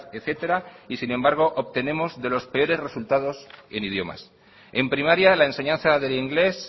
etcétera y sin embargo obtenemos de los perores resultados en idiomas en primaria la enseñanza del inglés